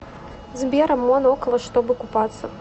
сбер амон около чтобы купаться